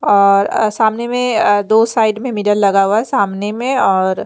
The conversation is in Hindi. और अ सामने में अ दो साइड में मिरर लगा हुआ है सामने में और--